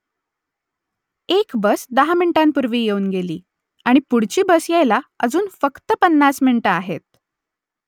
एक बस दहा मिनिटांपूर्वी येऊन गेली आणि पुढची बस यायला अजून फक्त पन्नास मिनिटं आहेत